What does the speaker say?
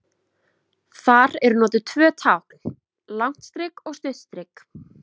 Þar eru notuð tvö tákn, langt strik og stutt strik.